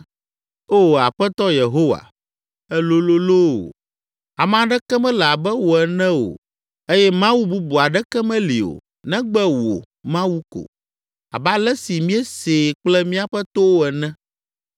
“Oo Aƒetɔ Yehowa, èlolo loo! Ame aɖeke mele abe wò ene o eye mawu bubu aɖeke meli o, negbe wò, Mawu ko, abe ale si míesee kple míaƒe towo ene.